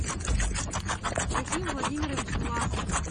рахим владимирович власов